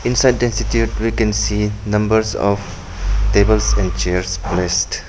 Inside the institute we can see numbers of chairs and chairs placed.